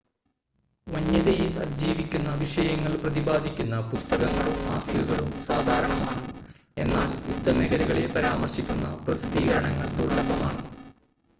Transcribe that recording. വന്യതയെ അതിജീവിക്കുന്ന വിഷയങ്ങൾ പ്രതിപാദിക്കുന്ന പുസ്തകങ്ങളും മാസികകളും സാധാരണമാണ്, എന്നാൽ യുദ്ധമേഖലകളെ പരാമർശിക്കുന്ന പ്രസിദ്ധീകരണങ്ങൾ ദുർലഭമാണ്